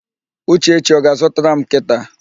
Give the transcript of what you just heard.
Uchechi ọ ga-azụtara m nkịta?